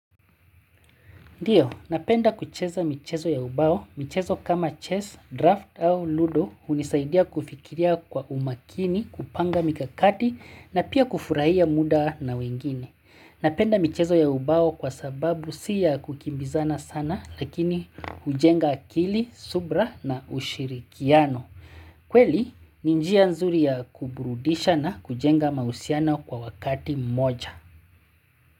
Ndio, napenda kucheza michezo ya ubao. Michezo kama chess, draft au ludo hunisaidia kufikiria kwa umakini, kupanga mikakati na pia kufurahia muda na wengine. Napenda michezo ya ubao kwasababu sio ya kukimbizana sana lakini hujenga akili, subra na ushirikiano. Kweli, ninjia nzuri ya kuburudisha na kujenga mausiano kwa wakati mmoja.